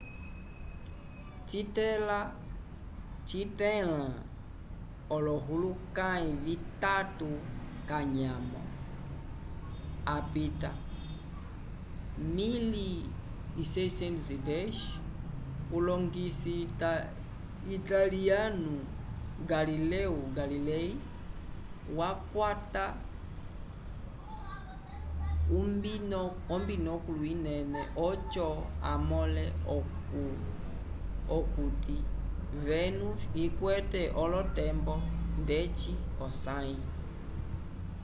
citẽla olohulukãyi vitatu k'anyamo apita 1610 ulongisi italiyanu galileo galilei wakwata ombinokulu inene oco amõle okuti vénus ikwete olotembo ndeci osãyi